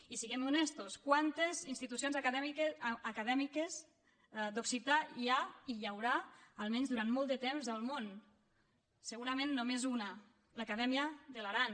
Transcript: i siguem honestos quantes institucions acadèmiques d’occità hi ha i hi haurà almenys durant molt de temps al món segurament només una l’acadèmia de l’aran